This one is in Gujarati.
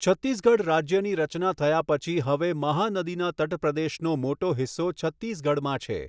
છત્તીસગઢ રાજ્યની રચના થયા પછી હવે મહાનદીના તટપ્રદેશનો મોટો હિસ્સો છત્તીસગઢમાં છે.